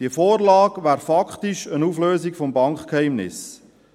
Diese Vorlage wäre praktisch eine Auflösung des Bankgeheimnisses.